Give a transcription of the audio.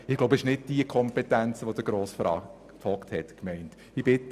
Sie gamen oder kommunizieren via Facebook oder Instagram.